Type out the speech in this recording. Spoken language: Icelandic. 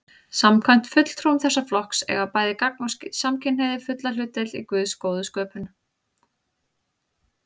Samkvæmt fulltrúum þessa flokks eiga bæði gagn- og samkynhneigðir fulla hlutdeild í Guðs góðu sköpun.